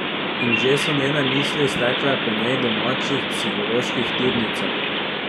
In že so njene misli stekle po njej domačih psiholoških tirnicah.